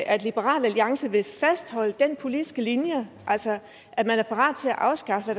at liberal alliance vil fastholde den politiske linje altså at man er parat til at afskaffe